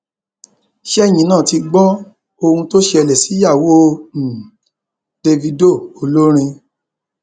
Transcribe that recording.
ṣẹyìn náà ti gbọ ohun tó ṣẹlẹ síyàwó um davido olórin